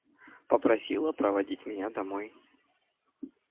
попросила проводить меня домой